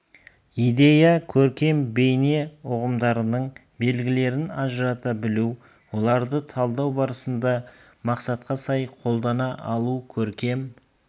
идея көркем бейне ұғымдарының белгілерін ажырата білу оларды талдау барысында мақсатқа сай қолдана алу көркем